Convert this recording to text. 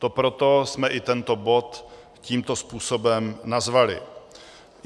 To proto jsme i tento bod tímto způsobem nazvali.